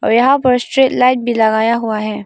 और यहां पर स्ट्रीट लाइट भी लगाया हुआ है।